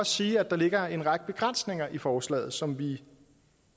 sige at der ligger en række begrænsninger i forslaget som vi